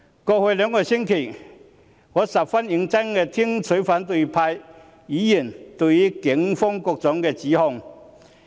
過去兩個星期，我十分認真聆聽反對派議員對於警方的各種指控。